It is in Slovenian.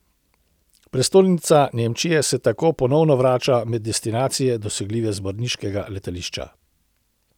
Prestolnica Nemčije se tako ponovno vrača med destinacije, dosegljive z brniškega letališča.